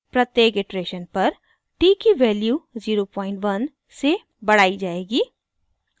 प्रत्येक इटरेशन पर t की वैल्यू 01 से बढ़ाई जाएगी